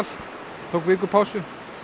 tók viku pásu